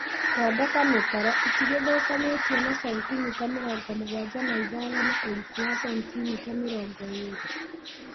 Thondeka mĩtaro ĩtigithũkanĩtio na sentimita mĩrongo mũgwanja na ithano na ũriku wa sentimita mĩrongo ĩlĩ